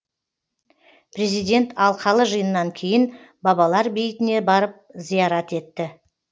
президент алқалы жиыннан кейін бабалар бейітіне барып зиярат етті